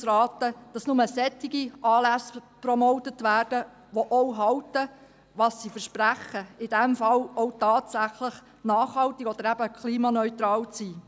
Tourismus AG raten, dass nur solche Anlässe promotet werden, die auch halten, was sie versprechen – in diesem Fall: auch tatsächlich nachhaltig oder eben klimaneutral zu sein.